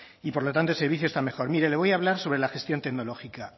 y por lo tanto el servicio está mejor mire le voy a hablar sobre la gestión tecnológica